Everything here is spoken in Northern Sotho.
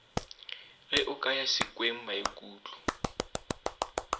ge o ka ya sekwengmaikutlo